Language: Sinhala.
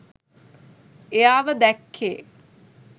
එයාව දැක්කේ?